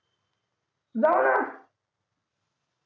जाऊ ना